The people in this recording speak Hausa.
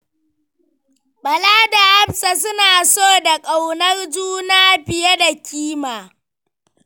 Bala da Hafsa suna so da ƙaunar juna fiye da kima.